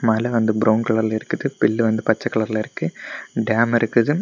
மேல வந்து ப்ரௌன் கலர்ல இருக்குது பெல் வந்து பச்சை கலர்ல இருக்கு டேம் இருக்குது.